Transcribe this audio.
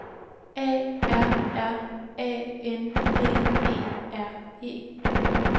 A R R A N G E R E